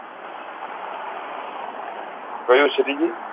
કયું